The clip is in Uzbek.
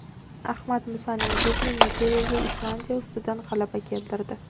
Ahmad Musaning dubli Nigeriyaga Islandiya ustidan g‘alaba keltirdi .